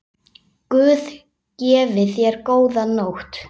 Guð gefi þér góða nótt.